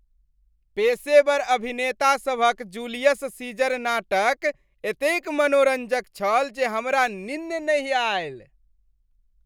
पेशेवर अभिनेता सभक जूलियस सीजर नाटक एतेक मनोरञ्जक छल जे हमरा निन्न नहि आयल।